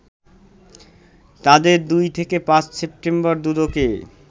তাদের ২ থেকে ৫ সেপ্টেম্বর দুদকে